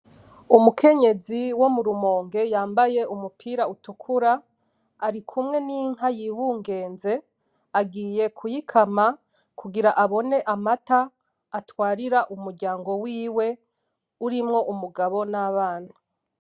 Umukenyezi wo murumonge yambaye umupira utukura ari kumwe ninka yibungenze agiye kuyikama kugira abone amata atwarira umuryango wiwe urimwo umugabo nabana